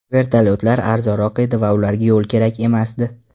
Vertolyotlar arzonroq edi va ularga yo‘l kerak emasdi.